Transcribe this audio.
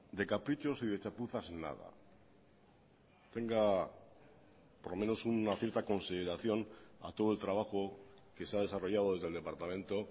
de caprichos y de chapuzas nada tenga por lo menos una cierta consideración a todo el trabajo que se ha desarrollado desde el departamento